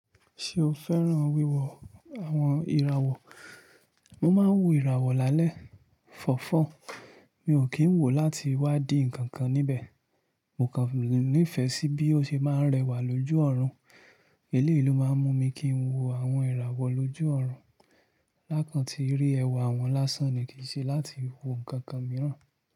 Ṣé o fẹ́ràn wíwo àwọn ìràwọ̀? Mo máa ń wo ìràwọ̀ lálẹ́ fọ̀fọ̀, mi ò kí ń wò ó láti wá di ǹkan kan níbẹ̀. Mo kàn nífẹ̀ẹ́ sí bí ó ṣe máa ń rẹwà lójú ọ̀run, eléèlo máa ń mú mi kí ń wo àwọn ìràwọ̀ lójú ọ̀run. Láàkàn tí rí ẹwà wọn lásán ni kì í ṣe láti wo ǹkan kan mìíràn.